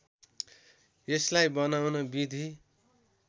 यसलाई बनाउन विधि